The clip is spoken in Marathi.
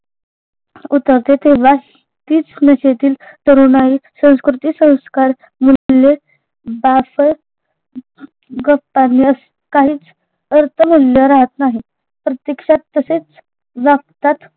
उतरते तेव्हा तीच नशेतील तरुणाई संस्कृति संस्कार काहीच अर्थतुल्य राहत नाही प्रत्यक्षात तसेच वागतात